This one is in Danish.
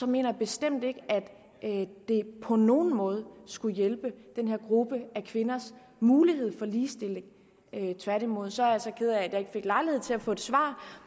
mener jeg bestemt ikke at det på nogen måde skulle hjælpe den her gruppe af kvinders mulighed for ligestilling tværtimod så er jeg så ked af at jeg ikke fik lejlighed til at få et svar